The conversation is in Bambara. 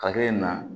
Hakili na